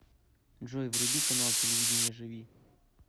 джой вруби канал телевидения живи